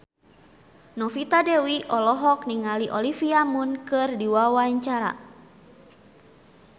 Novita Dewi olohok ningali Olivia Munn keur diwawancara